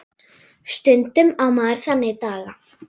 Stundum á maður þannig daga.